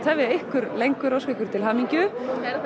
tefja ykkur lengur og óska ykkur til hamingju